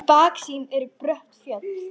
Í baksýn eru brött fjöll.